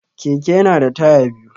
Keke ya na da taya biyu